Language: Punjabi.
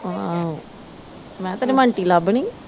ਆਹੋ ਮੈ ਕਿਹਾ ਮੈ ਤੈਨੂੰ ਆਂਟੀ ਲਬਣੀ ਆ।